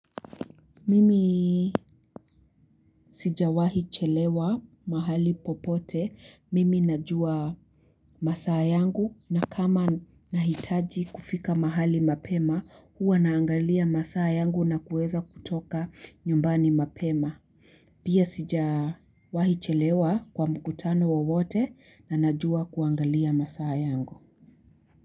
Mimi sijawahi chelewa mahali popote. Mimi najua masaa yangu na kama nahitaji kufika mahali mapema huwa naangalia masaa yangu na kuweza kutoka nyumbani mapema. Pia sijawahi chelewa kwa mkutano wowote na najua kuangalia masaa yangu.